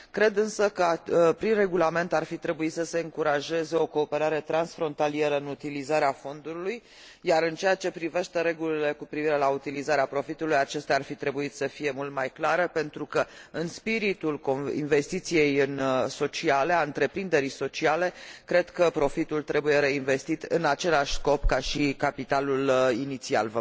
Cred însă că prin regulament ar fi trebuit să se încurajeze o cooperare transfrontalieră în utilizarea fondului iar, în ceea ce privește regulile cu privire la utilizarea profitului, acestea ar fi trebuit să fie mult mai clare pentru că, în spiritul investiției sociale a întreprinderii sociale, cred că profitul trebuie reinvestit în același scop ca și capitalul inițial.